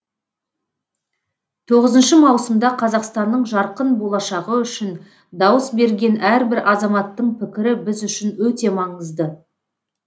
тоғызыншы маусымда қазақстанның жарқын болашағы үшін дауыс берген әрбір азаматтың пікірі біз үшін өте маңызды